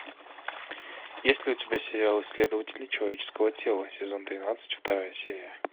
есть ли у тебя сериал исследователи человеческого тела сезон тринадцать вторая серия